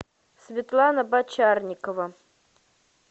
светлана бочарникова